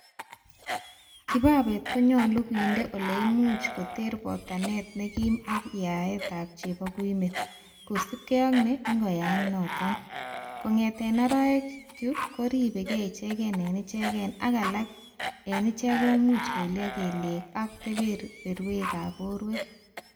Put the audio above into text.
Kibabeet konyolu kindee ele imuch koter botanet nekiim ak yaetab cheboguimet, kosiibge ak ne ingoyaak noton, kongete aarekuk ko riebege ichegen en ichegen, ak alaak en ichek komuuch koilyo kelyek ak kebeberwekab borwek.